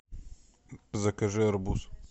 закажи арбуз